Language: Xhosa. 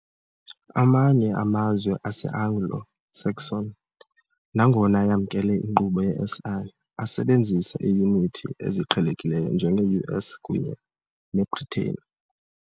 Amanye amazwe ase-Anglo-Saxon, nangona eyamnkele inkqubo ye-SI, asasebenzisa iiyunithi eziqhelekileyo, njenge-US kunye ne- Bhritane .